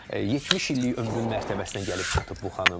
70 illik ömrün mərtəbəsinə gəlib çatıb bu xanım.